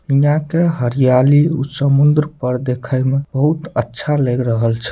यहाँ के हरियाली उ समुन्द्र पर देखे में बहुत अच्छा लग रहल छे।